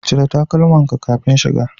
Cire takalmankan kafin shiga.